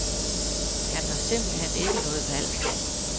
Han har simpelt hen ikke noget valg.